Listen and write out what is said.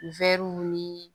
Wɛriw nii